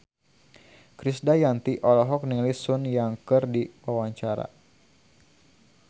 Krisdayanti olohok ningali Sun Yang keur diwawancara